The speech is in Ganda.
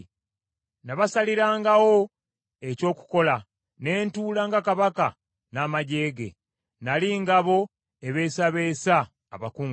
Nabasalirangawo eky’okukola, ne ntuula nga kabaka n’amaggye ge; nnali ng’abo ababeesabeesa abakungubazi.”